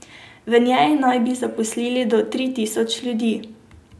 V njej na bi zaposlili do tri tisoč ljudi.